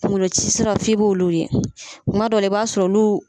Kungolo ci siraw f'i k'olu ye, kuma dɔ la, i b'a sɔrɔ olu.